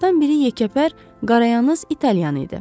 Onlardan biri yekəpər, qarayamız İtalyan idi.